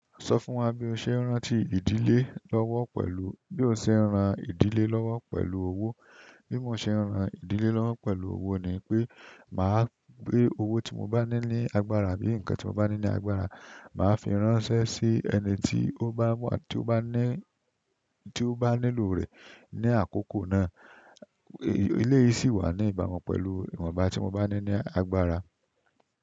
Sọ fún wa bí o ṣe ń rán ti ìdílé lọ́wọ́ pẹ̀lú, bí o ṣe ń ran ìdílé lọ́wọ́ pẹ̀lú owó. Bí mo ṣe ń ran ìdílé lọ́wọ́ pẹ̀lú owó ni pé màá gbé owó tí mo bá ní ní agbára bí nǹkan tí mo bá ní ní agbára, màá fi ránṣẹ́ sí ẹni tí ó bá mọ̀, tí ó bá ní, tí ó bá nílò rẹ̀ ní àkókò náà. Ilé yìí sì wà ní ìbàmu pẹ̀lú ìwọ̀nba tí mo bá ní ní agbára.